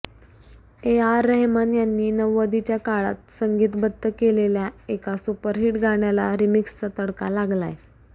ए R Rahman यांनी नव्वदीच्या काळात संगीतबद्ध केलेल्या एका सुपरहीट गाण्याला रिमिक्सचा तडका लागलाय